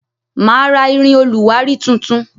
Ma ra irin oluwari tuntun